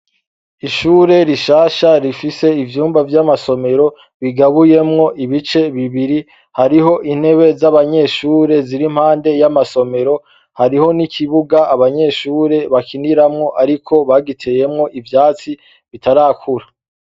Ishure rishasha rifise ivyumba vy'amasomero, bigabuyemwo ibice bibiri, harih'intebe z'abanyeshure zir'impande y'amasomero, hariho n'ikibuga abanyeshure bakiniramwo ariko bagiteyemwo ivyatsi bitarakura.